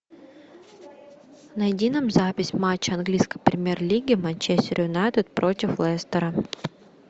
найди нам запись матча английской премьер лиги манчестер юнайтед против лестера